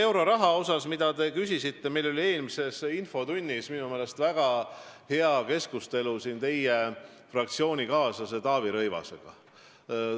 Euroraha üle, mille kohta te küsisite, oli meil eelmises infotunnis minu meelest väga hea keskustelu siin teie fraktsioonikaaslase Taavi Rõivasega.